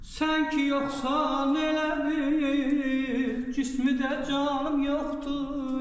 Sən ki yoxsan elə bil cismi də canım yoxdur.